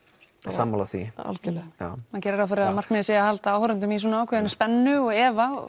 sammála því maður gerir ráð fyrir að markmiðið sé að halda áhorfendanum í ákveðinni spennu og efa